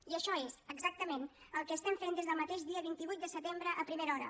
i això és exactament el que fem des del mateix dia vint vuit de setembre a primera hora